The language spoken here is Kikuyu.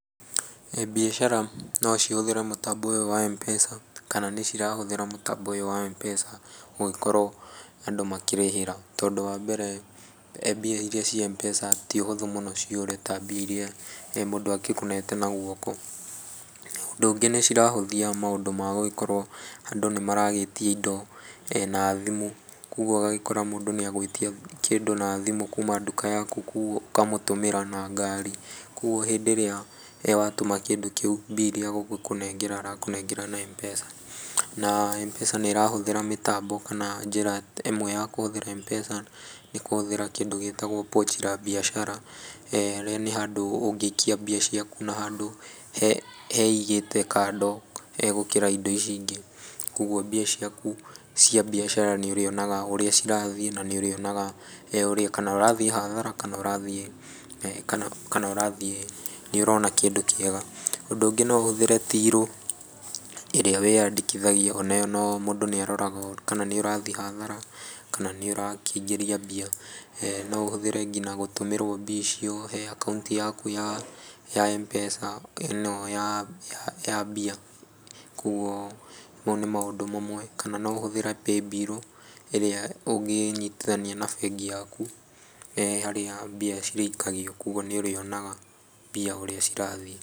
Mbiacara no cihũthĩre mũtambo ũyũ wa Mpesa, kana nĩ cirahũthĩra mũtambo ũyũ wa Mpesa, gũgĩkorwo andũ makĩrĩhĩra, tondũ wambere mbia iria ciĩ Mpesa ti ũhũthũ mũno ciũre ta mbia iria mũndũ agĩkũnete na guoko, ũndũ ũngĩ nĩ cirahũthia maũndũ ma gũgĩkorwo andũ nĩ maragĩtia indo, na thimũ, koguo ũgagĩkora mũndũ nĩ agwĩtia kĩndũ na thimũ kuuma nduka yaku, ũkamũtũmĩra na ngaari, koguo hĩndĩ ĩrĩa watũma kĩndũ kĩu mbia iria agũgĩkũnengera arakũnengera na Mpesa, na Mpesa nĩ ĩrahũthĩra mĩtambo kana njĩra ĩmwe ya kũhũthĩra Mpesa nĩ kũhũthĩra kĩndũ gĩtagwo pochi la biashara, ĩrĩa nĩ handũ ũngĩikia mbia ciaku na handũ heigĩte kando he gũkĩra indo ici ingĩ, koguo mbia ciaku cia mbiacara nĩ ũrĩonaga ũrĩa cirathiĩ na nĩ ũrionaga kana ũrathiĩ hathara kana ũrathiĩ kana ũrathiĩ nĩũrona kĩndũ kĩega. Ũndũ ũngĩ no ũhũthĩre tirũ ĩrĩa wĩyandĩkithagia oneyo mũndũ nĩ aroraga kana niũrathiĩ hathara, kana nĩ ũrakĩingĩria mbia, no ũhũthĩre nginya gũtũmĩrwo mbia icio he akaunti yaku ya Mpesa, ĩno ya ya mbia, koguo mau nĩ maũndũ mamwe, kana no ũhũthĩre paybill ĩrĩa ũngĩnyitithania na bengi yaku, harĩa mbia cirĩikagio koguo nĩũrĩonaga mbia ũrĩa cirathiĩ.